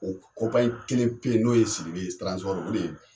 O kelen pe yen n'o ye sidibe o de ye